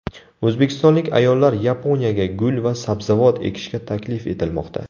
O‘zbekistonlik ayollar Yaponiyaga gul va sabzavot ekishga taklif etilmoqda.